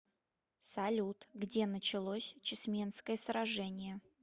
салют где началось чесменское сражение